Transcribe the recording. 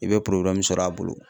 I bɛ sɔrɔ a bolo.